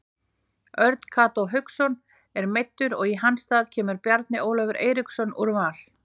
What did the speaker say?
Örn Kató Hauksson er meiddur og í hans stað kemur Bjarni Ólafur Eiríksson úr Val.